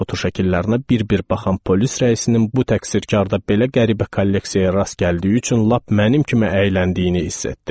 fotoşəkillərinə bir-bir baxan polis rəisinin bu təqsirkarda belə qəribə kolleksiyaya rast gəldiyi üçün lap mənim kimi əyləndiyini hiss etdim.